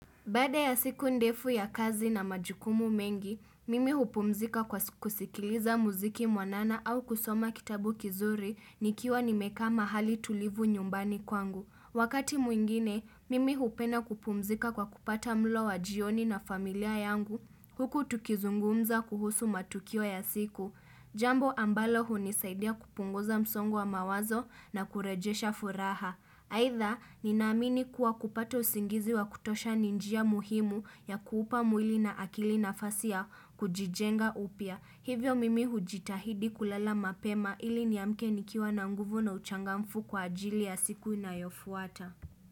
Baada ya siku ndefu ya kazi na majukumu mengi, mimi hupumzika kwa kusikiliza muziki mwanana au kusoma kitabu kizuri nikiwa nimekaa mahali tulivu nyumbani kwangu. Wakati mwingine, mimi hupenda kupumzika kwa kupata mlo wa jioni na familia yangu. Huku tukizungumza kuhusu matukio ya siku. Jambo ambalo hunisaidia kupunguza msongo wa mawazo na kurejesha furaha. Aitha, ninaamini kuwa kupata usingizi wa kutosha ni njia muhimu ya kuupa mwili na akili nafasi ya kujijenga upya. Hivyo mimi hujitahidi kulala mapema ili niamke nikiwa na nguvu na uchangamfu kwa ajili ya siku inayofuata.